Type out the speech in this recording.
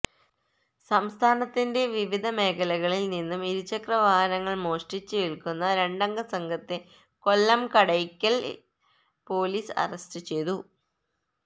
സംസ്ഥാനത്തിന്റെ വിവിധ മേഖലകളില് നിന്ന് ഇരുചക്ര വാഹനങ്ങള് മോഷ്ടിച്ച് വില്ക്കുന്ന രണ്ടംഗ സംഘത്തെ കൊല്ലം കടയ്ക്കലില് പൊലീസ് അറസ്റ്റ് ചെയ്തു